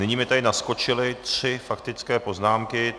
Nyní mi tady naskočily tři faktické poznámky.